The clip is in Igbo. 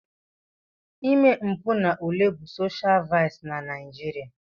Ime mpụ n'ule bụ soshial vaịsị na Naijiria.